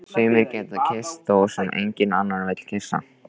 Sumir geta kysst þá sem enginn annar vill kyssa.